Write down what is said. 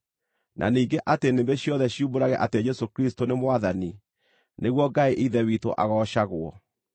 na ningĩ atĩ nĩmĩ ciothe ciumbũrage atĩ Jesũ Kristũ nĩ Mwathani, nĩguo Ngai Ithe witũ agoocagwo.